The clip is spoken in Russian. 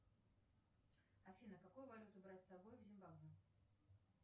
афина какую валюту брать с собой в зимбабве